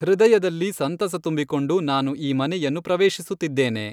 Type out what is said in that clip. ಹೃದಯಲ್ಲಿ ಸಂತಸ ತುಂಬಿಕೊಂಡು ನಾನು ಈ ಮನೆಯನ್ನು ಪ್ರವೇಶಿಸುತ್ತಿದ್ದೇನೆ.